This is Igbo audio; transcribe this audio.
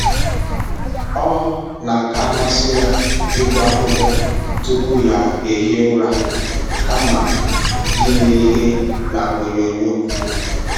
Ọ na aka amasị ya ịgụ akwụkwọ tupu ya ehie ụra kama ile ihe na onyoo nyoo